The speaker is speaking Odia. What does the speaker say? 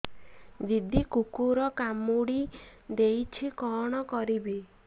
ଦିଦି କୁକୁର କାମୁଡି ଦେଇଛି କଣ କରିବି